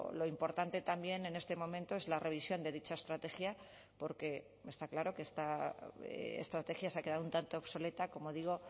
lo importante también en este momento es la revisión de dicha estrategia porque está claro que esta estrategia se ha quedado un tanto obsoleta como digo